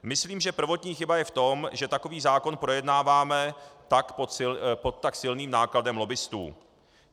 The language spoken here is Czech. Myslím, že prvotní chyba je v tom, že takový zákon projednáváme pod tak silným nátlakem lobbistů.